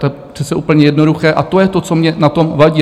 To je přece úplně jednoduché a to je to, co mně na tom vadí.